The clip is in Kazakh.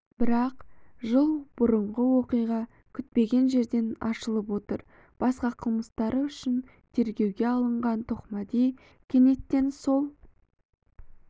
бірақ жыл бұрынғы оқиға күтпеген жерден ашылып отыр басқа қылмыстары үшін тергеуге алынған тоқмәди кенеттен сол